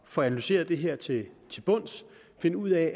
få analyseret det her til bunds og finde ud af